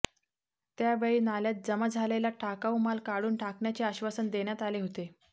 त्यावेळी नाल्यात जमा झालेला टाकाऊ माल काढून टाकण्याचे आश्वासन देण्यात आले होते